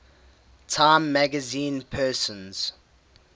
time magazine persons